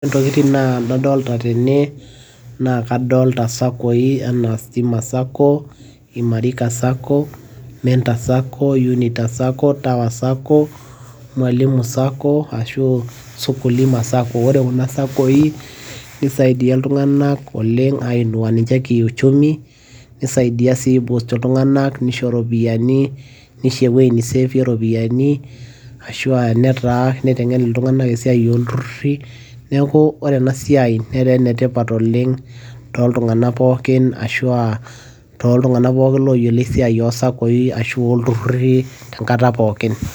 ore intokitin nadolita tena naa kadolta anaa stima sacco, imarika sacco, unita sacco, tower sacco, mwalimu sacco ashu aa kulia sacco. ore kuna sacco, nisaidia iltunganak ainua ninye ki uchumi nisadia sii iltunganak mishoo iropiyiani. nisho ewueji ni save iropiyiani, ashu aa nitengen iltunganak esiai ooltururi, neeku ore ena siai netaa ene tipat oleng, tooltunganak pookin, ashu aa tooltunganak pooki ooyiolo esiai ooltururi ashu sacco enkata pookin.